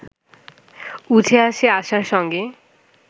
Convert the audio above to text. উঠে আসে আশার সঙ্গে